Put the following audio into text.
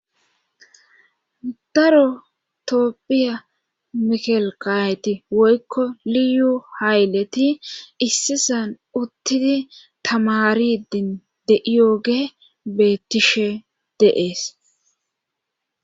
daro toopphiya mikelkayeti woykko liyu hayleti issisan uttidi tamaridin de7iyooge beettishe dees